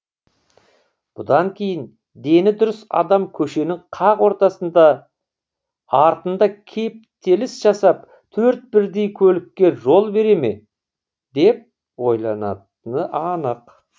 бұдан кейін дені дұрыс адам көшенің қақ ортасында артында кептеліс жасап төрт бірдей көлікке жол бере ме деп ойланатыны анық